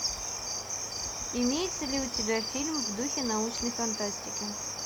имеется ли у тебя фильм в духе научной фантастики